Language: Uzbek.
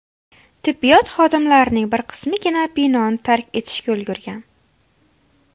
Tibbiyot xodimlarining bir qismigina binoni tark etishga ulgurgan.